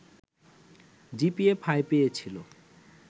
GPA five পেয়েছিল